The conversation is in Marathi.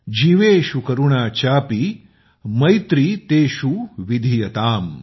जिवेशू करुणा चापी मैत्री तेशू विधियताम